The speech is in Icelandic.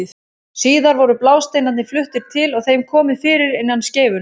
Síðar voru blásteinarnir fluttir til og þeim komið fyrir innan skeifunnar.